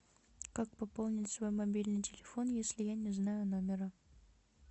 как пополнить свой мобильный телефон если я не знаю номера